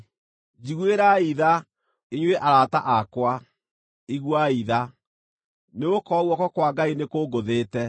“Njiguĩrai tha, inyuĩ arata akwa, iguai tha, nĩgũkorwo guoko kwa Ngai nĩkũngũthĩte.